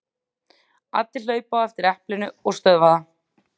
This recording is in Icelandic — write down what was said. Allir hlaupa á eftir eplinu og stöðva það.